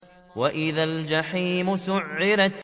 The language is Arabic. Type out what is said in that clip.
وَإِذَا الْجَحِيمُ سُعِّرَتْ